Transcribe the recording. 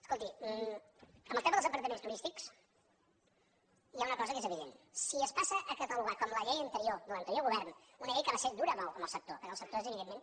escolti amb el tema dels apartaments turístics hi ha una cosa que és evident si es passa a catalogar com la llei anterior de l’anterior govern una llei que va ser dura amb el sector perquè el sector evidentment